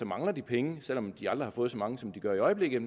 mangler de penge selv om de aldrig har fået så mange som de gør i øjeblikket